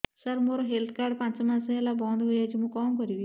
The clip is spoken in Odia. ସାର ମୋର ହେଲ୍ଥ କାର୍ଡ ପାଞ୍ଚ ମାସ ହେଲା ବଂଦ ହୋଇଛି ମୁଁ କଣ କରିବି